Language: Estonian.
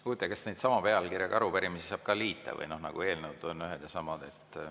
Huvitav, kas neid sama pealkirjaga arupärimisi saab ka liita, noh, nagu eelnõusid, mis on ühed ja samad?